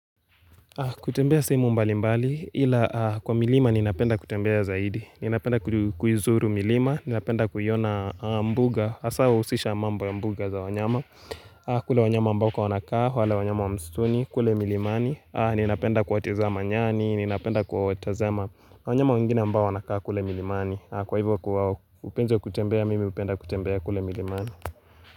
Kutembea sehemu mbali mbali ila kwa milima ninapenda kutembea zaidi, ninapenda kuizuru milima, ninapenda kuiona mbuga haswa huhusisha mambo ya mbuga za wanyama kule wanyama ambako wanakaa, wale wanyama wa msituni, kule milimani, ninapenda kuwatazama nyani, ninapenda kuwatazama wanyama wengine ambao wanakaa kule milimani, kwa hivyo upenzi kutembea, mimi hupenda kutembea kule milimani.